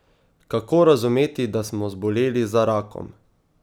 Kako razumeti, da smo zboleli za rakom?